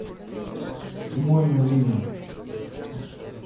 убойная лига